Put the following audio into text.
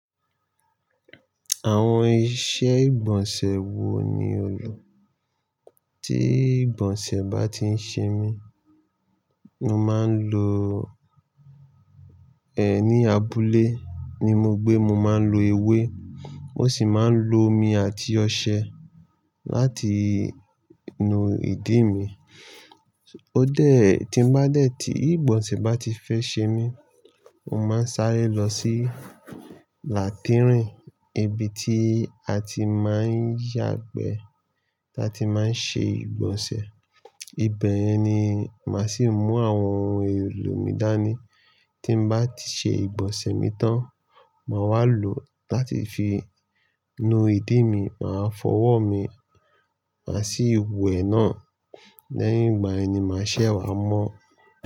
Àwọn ìṣe ìgbọ̀nsẹ̀ wo ni ò lò? Tí ìgbọ̀nsẹ̀ bá ti ń ṣe mí, mo máa ń lo, ẹ́ ní abúlé ni mo gbé, mo máa ń lo ewé, mo sì máa ń lo omi àti ọṣẹ láti nu ìdí mi. Ó dè, tí n bá dẹ̀ tí ìgbọ̀nsẹ̀ bá ti fẹ́ ṣe mí, mo máa ń sáré lọ sí làtírìnì, ibi tí a ti máa ń yàgbẹ́, tí a ti má ń ṣe ìgbọ̀nsẹ̀. Ibẹ̀ ni màá sì mú àwọn ohun èlò mi dání. Tí n bá ti ṣe ìgbọ̀nsẹ̀ mi tán, màá wá lò ó láti fi nu ìdí mi, màá fọwọ́ mi, màá sì we náà. Lẹ́yìn ìgbà yen màá ṣẹ̀ wá mọ́.